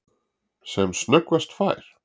Sem snöggvast fær